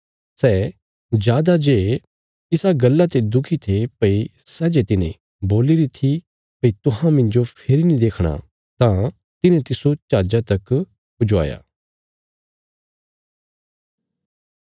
सै जादा जे इसा गल्ला ते दुखी थे भई सै जे तिने बोल्ली री थी भई तुहां मिन्जो फेरी नीं देखणा तां तिन्हें तिस्सो जहाजा तक पहुँचाया